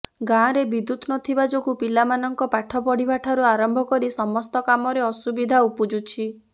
ଗାଁରେ ବିଦ୍ୟୁତ ନଥିବା ଯୋଗୁଁ ପିଲାମାନଙ୍କ ପାଠ ପଢିବା ଠାରୁ ଆରମ୍ଭ କରି ସମସ୍ତ କାମରେ ଅସୁବିଧା ଉପୁଜୁଛି